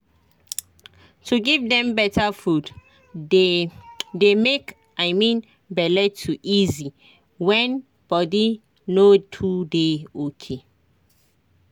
to give dem better food dey dey make i mean bele to easy when body no too dey ok.